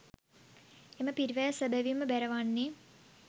එම පිරිවැය සැබැවින්ම බැරවන්නේ